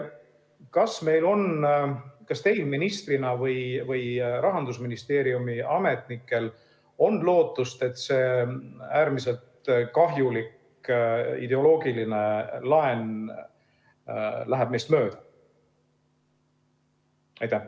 Kas meil on, kas teil ministrina on või Rahandusministeeriumi ametnikel on lootust, et see äärmiselt kahjulik ideoloogiline laen läheb meist mööda?